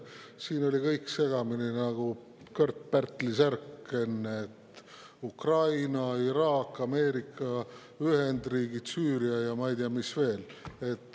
Siin oli kõik segamini nagu Kört-Pärtli särk: Ukraina, Iraak, Ameerika Ühendriigid, Süüria ja ma ei tea, mis veel.